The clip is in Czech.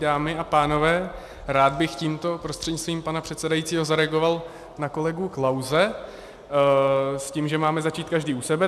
Dámy a pánové, rád bych tímto prostřednictvím pana předsedajícího zareagoval na kolegu Klause s tím, že máme začít každý u sebe.